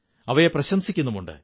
അവയെ പ്രശംസിക്കുന്നുമുണ്ട്